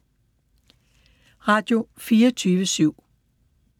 Radio24syv